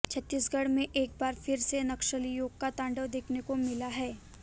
छत्तीसगढ़ में एक बार फिर से नक्सलियों का तांडव देखने को मिला है